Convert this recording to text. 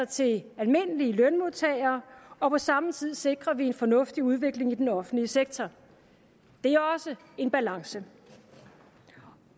til almindelige lønmodtagere og på samme tid sikrer vi en fornuftig udvikling i den offentlige sektor det er også en balance